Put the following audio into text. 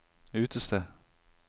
utested